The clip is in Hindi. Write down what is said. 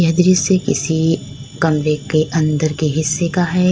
ये दृश्य किसी कमरे के अंदर के हिस्से का है।